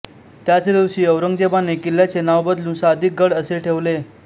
त्याच दिवशी औरंगजेबाने किल्ल्याचे नाव बदलून सादिकगड असे ठेवले